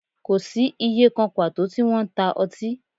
Kò sí ìyè kan pàtó tí wọ́n ń ta ọtí